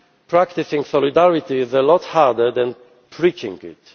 ever. Practising solidarity is a lot harder than preaching